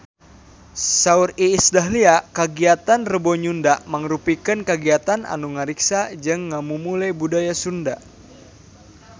Saur Iis Dahlia kagiatan Rebo Nyunda mangrupikeun kagiatan anu ngariksa jeung ngamumule budaya Sunda